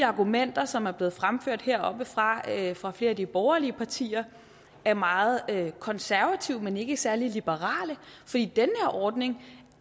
argumenter som er blevet fremført heroppefra fra flere af de borgerlige partier er meget konservative men ikke særlig liberale fordi den her ordning